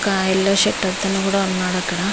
ఒక్క yellow shirt అతను కూడా ఉన్నాడు ఇక్కడ.